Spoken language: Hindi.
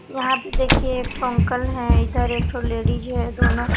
यहाँ पे देखिए एक ठो अंकल है इधर एक ठो लेडीज है दोनों--